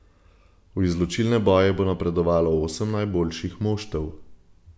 V izločilne boje bo napredovalo osem najboljših moštev.